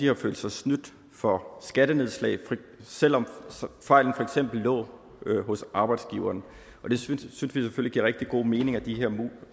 har følt sig snydt for skattenedslag selv om fejlen for eksempel lå hos arbejdsgiveren vi synes selvfølgelig rigtig god mening at de her